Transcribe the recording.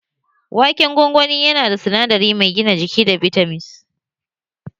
Waken gwangwani yana da sinadari mai gina jiki da bitamins